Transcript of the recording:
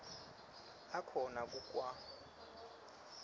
akhona ku kwa